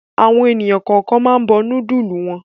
Àwọn ènìyàn kọ̀ọ̀kan máa ń bọ núdúlù wọn.